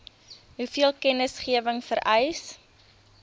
hoeveel kennisgewing vereis